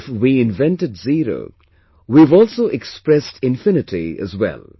If we invented zero, we have also expressed infinityas well